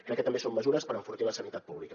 crec que també són mesures per enfortir la sanitat pública